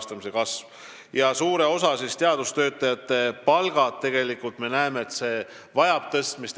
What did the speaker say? Me näeme ka seda, et suure osa teadustöötajate palk vajab tõstmist.